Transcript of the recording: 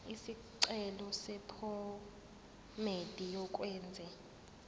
isicelo sephomedi yokwenze